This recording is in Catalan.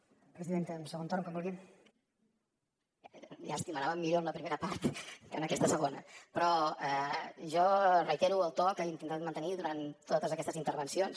llàstima anàvem millor amb la primera part que en aquesta segona però jo reitero el to que he intentat mantenir durant totes aquestes intervencions